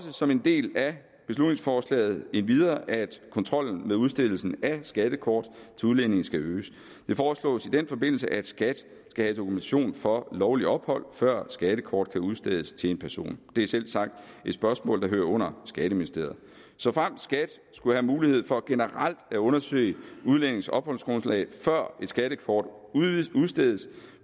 som en del af beslutningsforslaget endvidere også at kontrollen med udstedelsen af skattekort til udlændinge skal øges det foreslås i den forbindelse at skat skal have dokumentation for lovligt ophold før et skattekort kan udstedes til en person det er selvsagt et spørgsmål der hører under skatteministeriet såfremt skat skulle have mulighed for generelt at undersøge udlændinges opholdsgrundlag før et skattekort udstedes